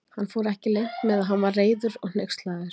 Hann fór ekki leynt með að hann var reiður og hneykslaður.